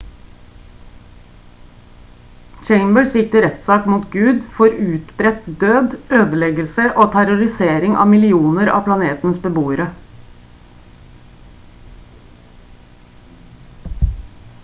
chambers gikk til rettssak mot gud for «utbredt død ødeleggelse og terrorisering av millioner av planetens beboere»